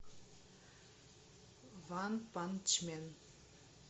ванпанчмен